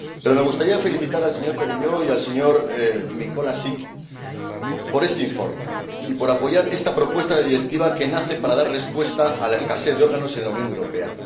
Me gustaría felicitar al señor Perelló y al señor Mikolášik por este informe y por apoyar esta propuesta de Directiva que nace para dar respuesta a la escasez de órganos en la Unión Europea.